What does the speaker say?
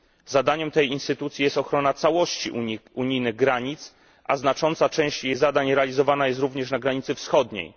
Zadaniem tej instytucji jest ochrona całości unijnych granic, a znacząca część jej zadań realizowana jest również na granicy wschodniej.